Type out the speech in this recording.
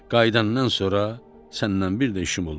Qayıdandan sonra səndən bir də işim olmaz.